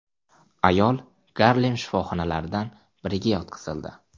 Ayol Garlem shifoxonalaridan biriga yetkazildi.